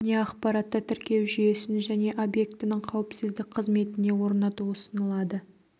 бейнеақпаратты тіркеу жүйесін және объектінің қауіпсіздік қызметіне орнату ұсынылады